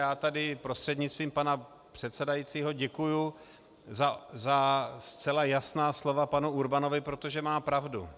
Já tady prostřednictvím pana předsedajícího děkuju za zcela jasná slova panu Urbanovi, protože má pravdu.